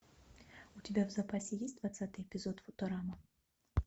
у тебя в запасе есть двадцатый эпизод футурама